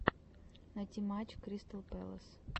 найти матч кристал пэлас